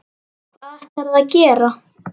Hvað ætlarðu að gera?